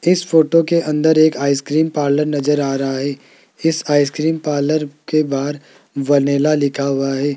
इस फोटो के अंदर एक आइसक्रीम पार्लर नजर आ रहा है इस आइस क्रीम पार्लर के बाहर वैनिला लिखा हुआ हैं।